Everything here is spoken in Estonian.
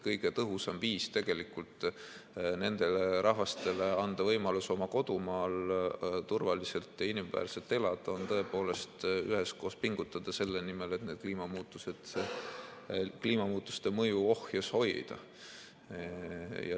Kõige tõhusam viis anda nendele rahvastele võimalus oma kodumaal turvaliselt ja inimväärselt elada on tõepoolest üheskoos pingutada selle nimel, et kliimamuutuste mõju ohjes hoida.